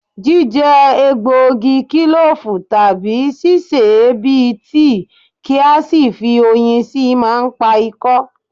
Jíjẹ egbògi kílòfù, tàbí sí sè é bí i tíì kí a sì fi oyin síi máa ń pa ikọ́